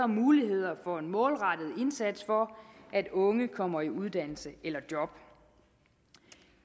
muligheder for en målrettet indsats for at unge kommer i uddannelse eller job